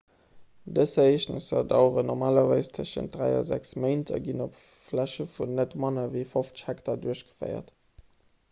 dës ereegnesser daueren normalerweis tëschent dräi a sechs méint a ginn op fläche vun net manner ewéi 50 hektar duerchgeféiert